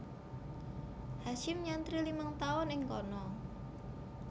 Hasyim nyantri limang tahun ing kana